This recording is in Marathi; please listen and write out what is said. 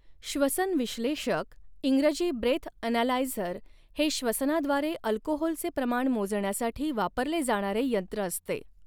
श्वसन विश्लेषक इंग्रजी ब्रेथ ॲनालायझर हे श्वसनाद्वारे अल्कोहोलचे प्रमाण मोजण्यासाठी वापरले जाणारे यंत्र असते.